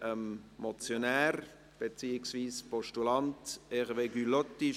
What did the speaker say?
Ich gebe dem Motionär beziehungsweise dem Postulanten Hervé Gullotti das Wort.